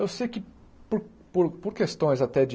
Eu sei que por por por questões até de